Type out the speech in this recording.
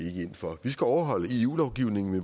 ind for vi skal overholde eu lovgivningen